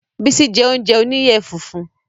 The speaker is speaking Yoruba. Bísí je oúnjẹ oníyẹ funfun